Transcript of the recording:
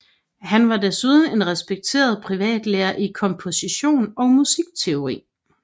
Han var desuden en respekteret privatlærer i komposition og musikteori